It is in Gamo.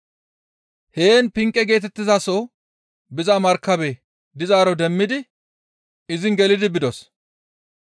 Heen Pinqe geetettizaso biza markabe dizaaro demmidi izin gelidi bidos.